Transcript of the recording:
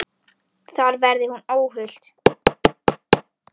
Þar verði hún óhult.